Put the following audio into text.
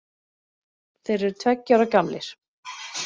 Þeir eru tveggja ára gamlir